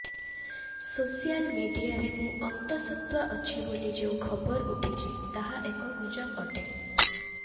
social ମିଡିଆରେ ମୁଁ ଅନ୍ତସତ୍ତ୍ୱା ଅଛି ବୋଲି ଯେଉଁ ଖବର ଉଠଛି ତାହା ଏକ ଗୁଜବ ଅଟେ